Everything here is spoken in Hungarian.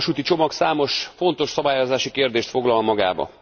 4. vasúti csomag számos fontos szabályozási kérdést foglal magába.